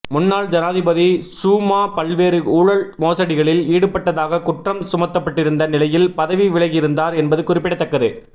முன்னாள் ஜனாதிபதி சூமா பல்வேறு ஊழல் மோசடிகளில் ஈடுபட்டதாகக் குற்றம் சுமத்தப்பட்டிருந்த நிலையில் பதவி விலகியிருந்தார் என்பது குறிப்பிடத்தக்கது